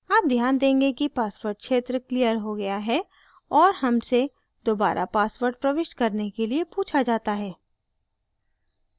आप ध्यान देंगे कि password क्षेत्र क्लियर हो गया है और हमसे दोबारा password प्रविष्ट करने के लिए पूछा जाता है